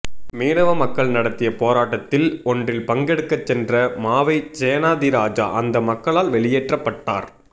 மீனவ மக்கள் நடத்திய போராட்டத்தில் ஒன்றில் பங்கெடுக்கச் சென்ற மாவை சேனாதிராஜா அந்த மக்களால் வெளியேற்றப்பட்டார்